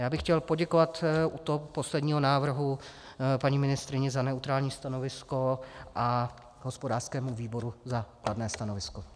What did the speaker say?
Já bych chtěl poděkovat u toho posledního návrhu paní ministryni za neutrální stanovisko a hospodářskému výboru za kladné stanovisko.